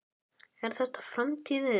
Er þetta framtíðin?